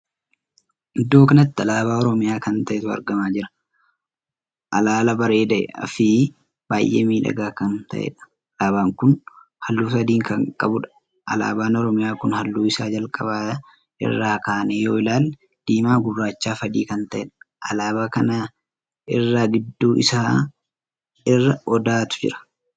Iddoo kanatti alaabaa oromiyaa kan taheetu argamaa jira. alaalaa bareedaa fi baay'ee miidhagaa kan tahedha. alaabaan kun halluu sadii kan qabuudha. alaabaan oromiyaa kun halluu isaa jalqaba irraa kaanee yoo ilaalle diimaa, gurraacha fi adii kan tahedha. alaabaa kan irraa gidduu isaa irra odaatu jira.